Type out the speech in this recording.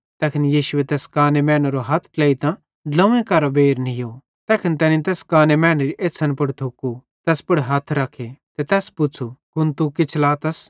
तैखन यीशुए तैस काने मैनेरो हथ ट्लेइतां ड्लोंव्वे केरां बेइर नीयो तैखन तैनी तैस काने मैनेरी एछ़्छ़न पुड़ थुकतां तैस पुड़ हथ रखे ते तैस पुच़्छ़ू कुन तू किछ लातस